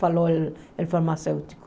Falou o o farmacêutico.